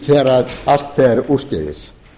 þegar allt fer úrskeiðis